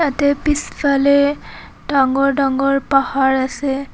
ইয়াতে পিছফালে ডাঙৰ ডাঙৰ পাহাৰ আছে।